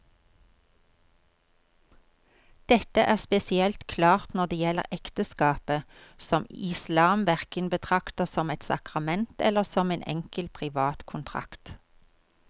Dette er spesielt klart når det gjelder ekteskapet, som islam hverken betrakter som et sakrament eller som en enkel privat kontrakt.